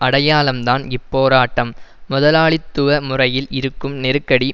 அடையாளம்தான் இப்போராட்டம் முதலாளித்துவ முறையில் இருக்கும் நெருக்கடி